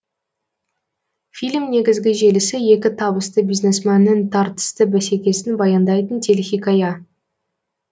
фильм негізгі желісі екі табысты бизнесменнің тартысты бәсекесін баяндайтын телехикая